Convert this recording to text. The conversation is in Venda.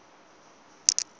dza u ṱun ḓa dzi